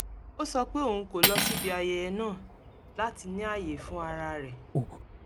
ó sọ pé òun kò lọ síbi ayẹyẹ náà láti ní ààyè fún ara rẹ̀